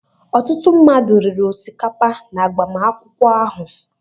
Ọtụtụ mmadụ riri osikapa n'agbamakwụkwọ ahụ.